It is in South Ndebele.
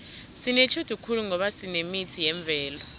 sinetjhudu khulu ngoba sinemithi yemvelo